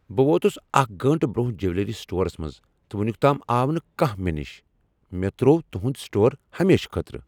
بہٕ ووتس اکھ گٲنٛٹہٕ برونٛہہ جویلری سٹورس منٛز تہٕ ونیک تام آو نہ کانہہ مےٚ نش۔ مےٚ تروو تُہند سٹور ہمیشہٕ خٲطرٕ۔